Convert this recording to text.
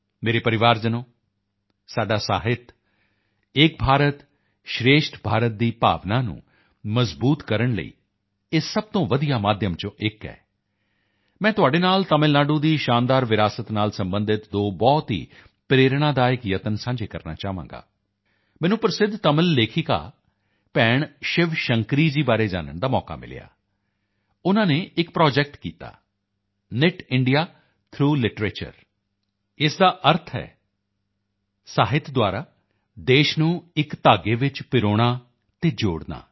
ਮੇਰੇ ਪਰਿਵਾਰਜਨੋਂ ਸਾਡਾ ਸਾਹਿਤ ਏਕ ਭਾਰਤ ਸ਼੍ਰੇਸ਼ਠ ਭਾਰਤ ਦੀ ਭਾਵਨਾ ਨੂੰ ਮਜ਼ਬੂਤ ਕਰਨ ਲਈ ਇਹ ਸਭ ਤੋਂ ਵਧੀਆ ਮਾਧਿਅਮਾਂ ਵਿੱਚੋਂ ਇੱਕ ਹੈ ਮੈਂ ਤੁਹਾਡੇ ਨਾਲ ਤਮਿਲ ਨਾਡੂ ਦੀ ਸ਼ਾਨਦਾਰ ਵਿਰਾਸਤ ਨਾਲ ਸਬੰਧਿਤ ਦੋ ਬਹੁਤ ਹੀ ਪ੍ਰੇਰਣਾਦਾਇਕ ਯਤਨ ਸਾਂਝੇ ਕਰਨਾ ਚਾਹਾਂਗਾ ਮੈਨੂੰ ਪ੍ਰਸਿੱਧ ਤਮਿਲ ਲੇਖਿਕਾ ਭੈਣ ਸ਼ਿਵ ਸ਼ੰਕਰੀ ਜੀ ਬਾਰੇ ਜਾਨਣ ਦਾ ਮੌਕਾ ਮਿਲਿਆ ਉਨ੍ਹਾਂ ਨੇ ਇੱਕ ਪ੍ਰੋਜੈਕਟ ਕੀਤਾ ਨੀਤਿੰਦਿਆ ਥਰੌਗ ਲਿਟਰੇਚਰ ਇਸ ਦਾ ਅਰਥ ਹੈ ਸਾਹਿਤ ਦੁਆਰਾ ਦੇਸ਼ ਨੂੰ ਇੱਕ ਧਾਗੇ ਵਿੱਚ ਪਰੋਣਾ ਅਤੇ ਜੋੜਨਾ